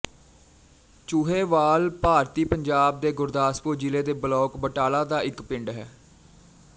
ਚੂਹੇਵਾਲ ਭਾਰਤੀ ਪੰਜਾਬ ਦੇ ਗੁਰਦਾਸਪੁਰ ਜ਼ਿਲ੍ਹੇ ਦੇ ਬਲਾਕ ਬਟਾਲਾ ਦਾ ਇੱਕ ਪਿੰਡ ਹੈ